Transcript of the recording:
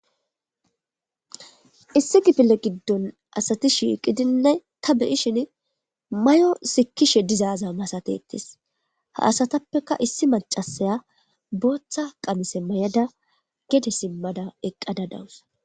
Issi kifille giddon asati shiiqidinne ta beyishin may7o sikishe dizaaza masatetes ha asatappeka issi macasaya booththa qamise may7ada gede simmada eqqada dawusa